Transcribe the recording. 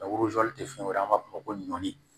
tɛ fɛn wɛrɛ ye an b'a fɔ ko nɔni